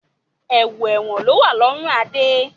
Ẹ̀wù ẹ̀wọ̀n lowa lọrun Adé